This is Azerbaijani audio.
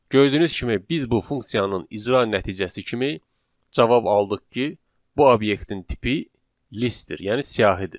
Gördüyünüz kimi biz bu funksiyanın icra nəticəsi kimi cavab aldıq ki, bu obyektin tipi listdir, yəni siyahıdır.